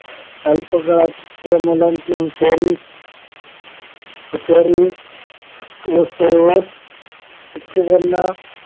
अल्पकाळात त्या मुलांची हुशारी हुशारी व सर्वात शिक्षकांना